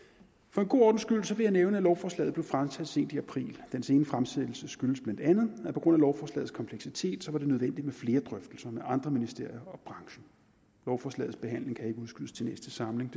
for en god ordens skyld vil jeg nævne at lovforslaget blev fremsat sent i april den sene fremsættelse skyldes bla at det på grund af lovforslagets kompleksitet var nødvendigt med flere drøftelser med andre ministerier og branchen lovforslagets behandling kan ikke udskydes til næste samling